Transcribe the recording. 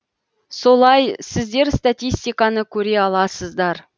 солай сіздер статистиканы көре аласыздар